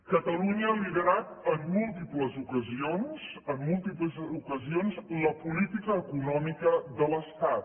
catalunya ha liderat en múltiples ocasions en múltiples ocasions la política econòmica de l’estat